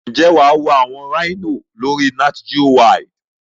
Njé wà wo àwon Rhino lórí NatGeowild